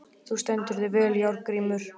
Þú stendur þig vel, Járngrímur!